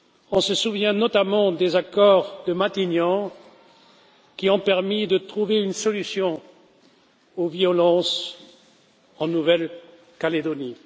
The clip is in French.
On se souvient notamment des accords de Matignon, qui ont permis de trouver une solution aux violences en Nouvelle Calédonie.